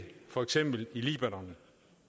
for eksempel libanon